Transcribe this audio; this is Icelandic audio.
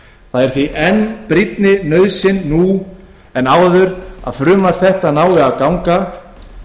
það er því enn brýnni nauðsyn nú en áður að frumvarp þetta nái fram að ganga